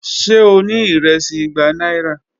Ṣe o ni iresi igba aira?